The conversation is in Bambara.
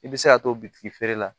I bɛ se ka to bitiki feere la